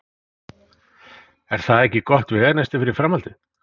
Er það ekki gott veganesti fyrir framhaldið?